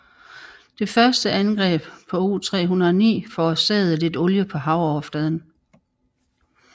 Det første angreb på U 309 forårsagede lidt olie på havoverfladen